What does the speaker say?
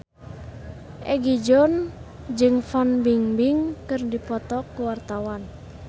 Egi John jeung Fan Bingbing keur dipoto ku wartawan